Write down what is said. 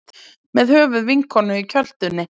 Með höfuð vinkonu í kjöltunni